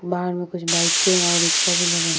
बाहर में कुछ बाइके और रिक्शा भी लगे --